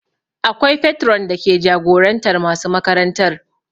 Akwai patron dake jagorantar masu makarantar